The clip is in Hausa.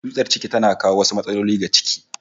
Tsutsar ciki tana kawo wasu matsaloli ga ciki